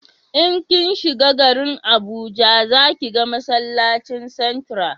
in kin shiga garin abuja za ki ga masallacin santra